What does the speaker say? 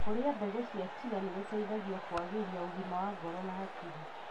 Kũrĩa mbegũ cia chia nĩgũteithagia kũagĩria ũgima wa ngoro na hakiri.